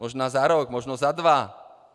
Možná za rok, možná za dva.